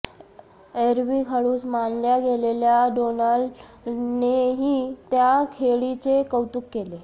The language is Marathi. एरवी खडूस मानल्या गेलेल्या डोनाल्डनेही त्या खेळीचे कौतुक केले